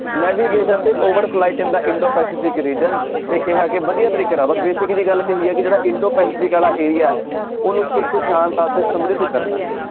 Navigation over flight in the Indo Pacific region ਤੇ ਕਿਹਾ ਕਿ ਵਧੀਆ ਤਰੀਕੇ ਨਾਲ ਬਸ basic ਜਿਹੀ ਗੱਲ ਕਹੀ ਆ ਕਿ ਜਿਹੜਾ ਇੰਡੋ ਪੈਸੇਫਿਕ ਵਾਲਾ area ਹੈ ਉਹਨੂੰ ਸੁਖ ਸ਼ਾਂਤ ਅਤੇ ਸਮਰਿਧ ਕਰਨਾ ਹੈ।